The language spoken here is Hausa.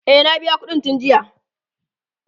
e na biya ƙuɗin tun jiya